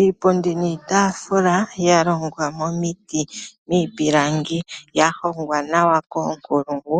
Iipundi niitafula yalongwa momiiti niipilangi yahongwa nawa koonkulungu